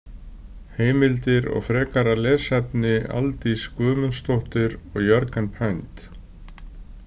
Heimildir og frekara lesefni Aldís Guðmundsdóttir og Jörgen Pind.